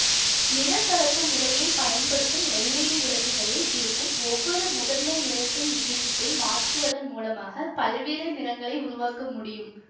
நிறக்கலப்பு முறையை பயன்படுத்தும் எல்ஈடி விளக்குகளில் இருக்கும் ஒவ்வொரு முதன்மை நிறத்தின் விகிதத்தை மாற்றுவதன் மூலமாக பல்வேறு நிறங்களை உருவாக்க முடியும்